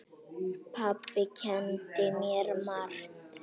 Pabbi kenndi mér margt.